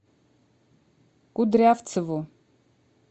кудрявцеву